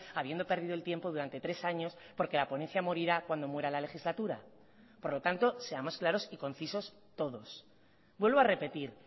habiendo perdido el tiempo durante tres años porque la ponencia morirá cuando muera la legislatura por lo tanto seamos claros y concisos todos vuelvo a repetir